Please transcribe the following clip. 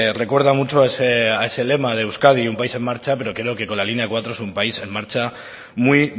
recuerda mucho a ese lema de euskadi un país en marcha pero que creo que con la línea cuatro es un país en marcha muy